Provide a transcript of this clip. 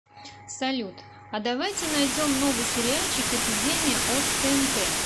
салют а давайте найдем новый сериальчик эпидемия от тнт